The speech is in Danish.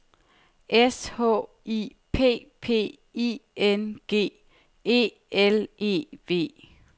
S H I P P I N G E L E V